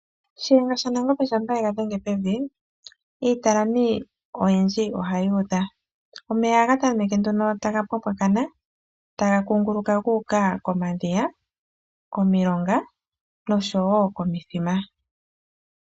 Shiyenga shanangombe shampoo yegadhenga pevi, iitalami oyindji ohayi udha. Omeya ohaga tameke nduno taga pwapwakana, taga kunguluka guuka komadhiya, komilonga noshowo komithima.